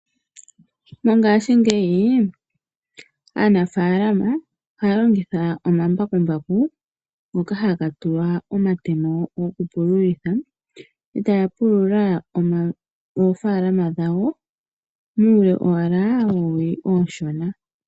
Mongashingeyi aanafaalama ohaya longitha omambakumbaku ngoka haga tulwa omatemo gokupulula e taya pulula oofaalama dhawo muule owala woowili oonshona.